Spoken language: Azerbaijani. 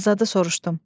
Azadı soruşdum.